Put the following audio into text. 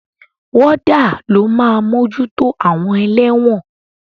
Wọ́dà ló máa mójútó àwọn ẹlẹ́wọ̀n.